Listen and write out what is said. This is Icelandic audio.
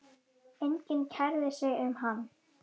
Enginn kærði sig um hann.